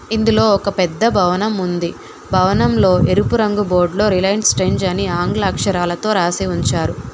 ఇందులో ఒక పెద్ద భవనం ఉంది భవనంలో ఎరుపు రంగు బోర్డులో రిలయన్స్ ట్రెంజ్ అని ఆంగ్ల అక్షరాలతో రాసి ఉంచారు.